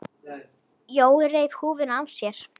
Jói reif húfuna af sér.